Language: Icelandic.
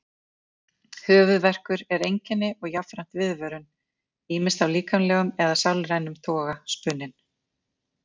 Höfuðverkur er einkenni og jafnframt viðvörun, ýmist af líkamlegum eða sálrænum toga spunninn.